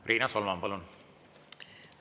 Riina Solman, palun!